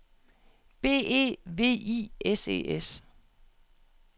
B E V I S E S